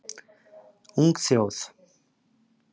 Ung þjóð